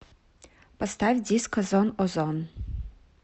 поставь диско зон о зон